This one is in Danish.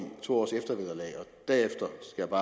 to år og derefter